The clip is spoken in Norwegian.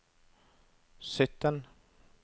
sytten